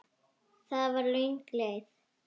Það var löng leið.